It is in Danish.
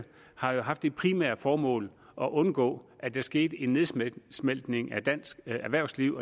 har haft det primære formål at undgå at der skete en nedsmeltning af dansk erhvervsliv